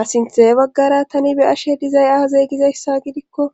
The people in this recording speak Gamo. Asinthee baggara tani be ashe dizay azeeygizayssa gidikko